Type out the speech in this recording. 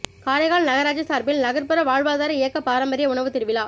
காரைக்கால் நகராட்சி சார்பில் நகர்புற வாழ்வாதார இயக்க பாரம்பரிய உணவு திருவிழா